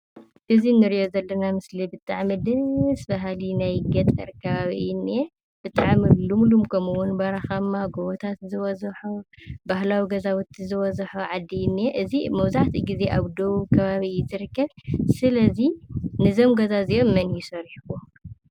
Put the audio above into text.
እዚ እንሪኦ ዘለና ምስሊ ብጣዕሚ ደስ በሃሊ ናይ ገጠር ከባቢ እዩ እኒሀ፡፡ ብጣዕሚ ሉምሉም ከምኡውን በረኻማ፣ ጎቦታት ዝበዝሖ፣ ባህላዊ ገዛውቲ ዝበዝሖ ዓዲ እዩ ዝኒሀ። መብዛሕትኡ ጊዜ ኣብ ደቡብ ከባቢ እዩ ዝርከብ፡፡ ስለ እዚ ንዞም ገዛ እዚኦም መን እዩ ሰሪሑዎም?